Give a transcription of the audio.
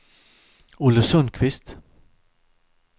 Olle Sundqvist